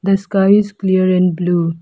The sky is clear and blue.